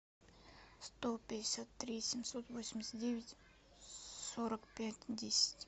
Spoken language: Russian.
сто пятьдесят три семьсот восемьдесят девять сорок пять десять